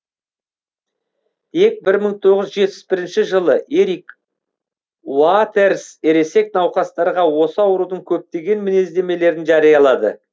тек бір мың тоғыз жүз жетпіс бірінші жылы эрик уатерс ересек науқастарға осы аурудың көптеген мінездемелерін жариялады